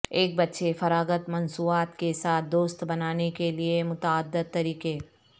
ایک بچے فراغت مصنوعات کے ساتھ دوست بنانے کے لئے متعدد طریقے